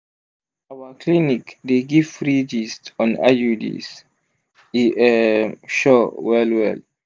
our clinic dey give free gist on iuds e um sure well well!